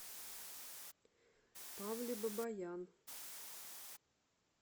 павле бабаян